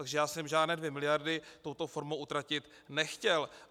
Takže já jsem žádné dvě miliardy touto formou utratit nechtěl.